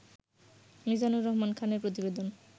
মিজানুর রহমান খানের প্রতিবেদন